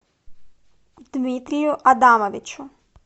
дмитрию адамовичу